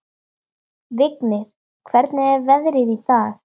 Vignir, hvernig er veðrið í dag?